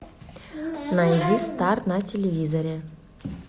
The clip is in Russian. найди стар на телевизоре